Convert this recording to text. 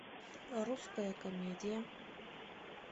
русская комедия